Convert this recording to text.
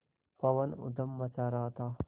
पवन ऊधम मचा रहा था